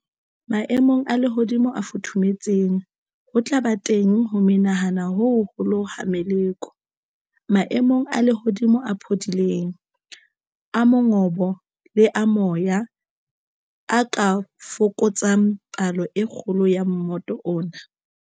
Maemong a lehodimo a futhumetseng, ho tla ba teng ho menahana ho hoholo ha meloko. Maemo a lehodimo a phodileng, a mongobo le a moya, a ka fokotsa palo e kgolo ya mmoto ona.